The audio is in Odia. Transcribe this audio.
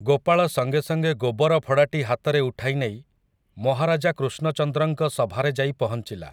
ଗୋପାଳ ସଙ୍ଗେ ସଙ୍ଗେ ଗୋବର ଫଡ଼ାଟି ହାତରେ ଉଠାଇ ନେଇ ମହାରାଜା କୃଷ୍ଣଚନ୍ଦ୍ରଙ୍କ ସଭାରେ ଯାଇ ପହଁଚିଲା ।